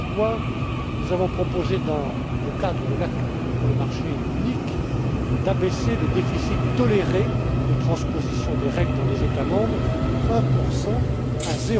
Voilà pourquoi nous avons proposé dans le cadre de l'Acte pour le marché unique d'abaisser le déficit toléré de transposition des règles dans les États membres de